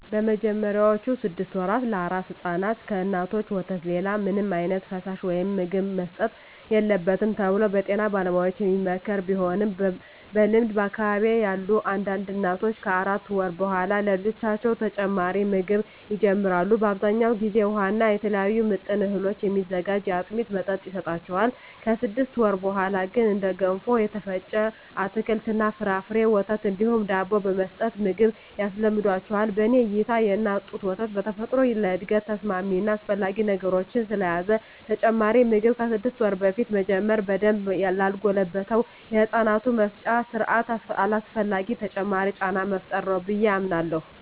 በመጀመሪያዎቹ ስድስት ወራ ለአራስ ሕፃናት ከእናቶች ወተት ሌላ ምንም ዓይነት ፈሳሽ ወይም ምግብ መሰጠት የለበትም ተብሎ በጤና ባለሙያዎች የሚመከር ቢሆንም በልምድ በአካባቢየ ያሉ አንዳንድ እናቶች ከአራት ወር በኃላ ለልጆቻቸው ተጨማሪ ምግብ ይጀምራሉ። በአብዛኛው ጊዜ ውሃ እና ከተለያዩ ምጥን እህሎች የሚዘጋጅ የአጥሚት መጠጥ ይሰጣቸዋል። ከስድስት ወር በኀላ ግን እንደ ገንፎ፣ የተፈጨ አትክልት እና ፍራፍሬ፣ ወተት እንዲሁም ዳቦ በመስጠት ምግብ ያስለምዷቸዋል። በኔ እይታ የእናት ጡት ወተት በተፈጥሮ ለእድገት ተስማሚ እና አስፈላጊ ንጥረነገሮችን ስለያዘ ተጨማሪ ምግብ ከስድስት ወር በፊት መጀመር በደንብ ላልጎለበተው የህፃናቱ የመፍጫ ስርአት አላስፈላጊ ተጨማሪ ጫና መፍጠር ነው ብየ አምናለሁ።